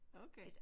Okay